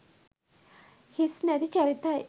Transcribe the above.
හිස්නැති චරිතයි.